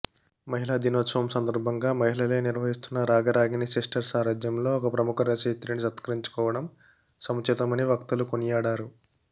మహిళా దినోత్సవం సందర్భంగా మహిళలే నిర్వహిస్తున్న రాగరాగిణి సిస్టర్స్ సారథ్యంలో ఒక ప్రముఖ రచయిత్రిని సత్కరించుకోవడం సముచితమని వక్తలు కొనియాడారు